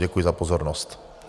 Děkuji za pozornost.